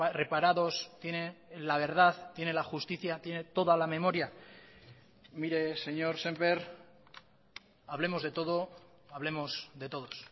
reparados tiene la verdad tiene la justicia tiene toda la memoria mire señor sémper hablemos de todo hablemos de todos